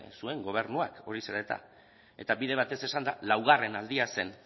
zuen gobernuak hori zen eta eta bide batez esanda laugarren aldia zen